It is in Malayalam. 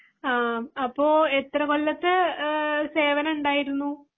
ആ അപ്പൊ എത്ര കൊല്ലാത്തെ സേവനം ഉണ്ടായിരുന്നു.